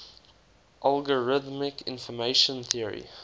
algorithmic information theory